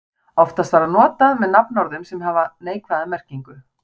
Oftast var það notað með nafnorðum sem hafa neikvæða merkingu.